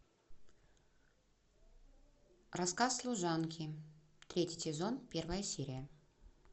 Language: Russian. рассказ служанки третий сезон первая серия